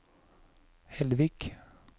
Hellvik